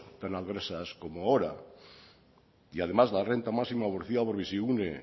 tan adversas como ahora y además la renta máxima ofrecida por bizigune